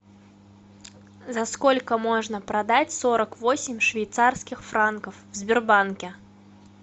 за сколько можно продать сорок восемь швейцарских франков в сбербанке